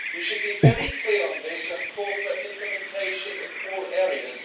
We should be very clear on this and call for implementation in all areas.